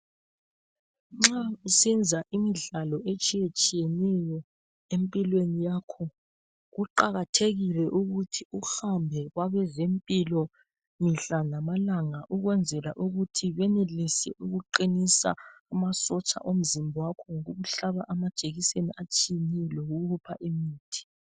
Nxau usenzwa imidlalo etshiyetshiyeneyo empilweni yakho kuqakathekile ukuthi uhambe kwabezempilo mihlalamalanga ukwenzela ukuthi benelise ukuqinisa masotsha omzimba akho ngokukuhlaba amajekiseni atshiyeneneyo lokukupha imithi.